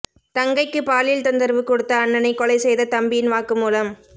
தங்கைக்கு பாலியல் தொந்தரவு கொடுத்த அண்ணனை கொலை செய்த தம்பியின் வாக்குமூலம்